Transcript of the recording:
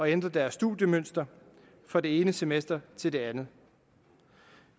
ændre deres studiemønster fra det ene semester til det andet